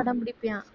அடம் பிடிப்பான்